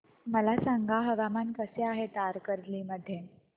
मला सांगा हवामान कसे आहे तारकर्ली मध्ये